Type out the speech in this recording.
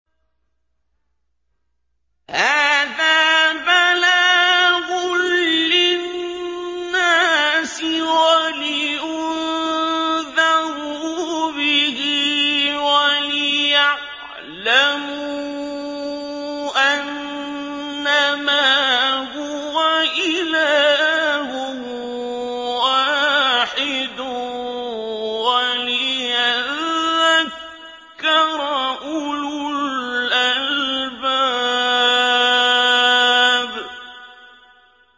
هَٰذَا بَلَاغٌ لِّلنَّاسِ وَلِيُنذَرُوا بِهِ وَلِيَعْلَمُوا أَنَّمَا هُوَ إِلَٰهٌ وَاحِدٌ وَلِيَذَّكَّرَ أُولُو الْأَلْبَابِ